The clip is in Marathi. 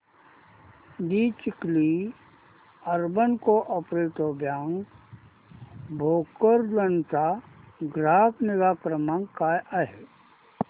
दि Chikhli urban cooperative bank Bhokardan चा ग्राहक निगा क्रमांक काय आहे